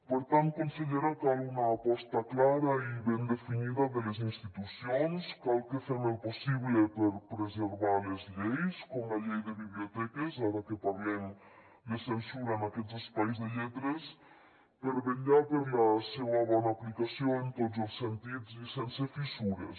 per tant consellera cal una aposta clara i ben definida de les institucions cal que fem el possible per preservar les lleis com la llei de biblioteques ara que parlem de censura en aquests espais de lletres per vetllar per la seua bona aplicació en tots els sentits i sense fissures